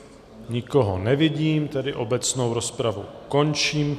Nikoho nevidím, tedy obecnou rozpravu končím.